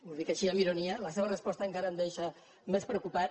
ho dic així amb ironia la seva resposta encara em deixa més preocupat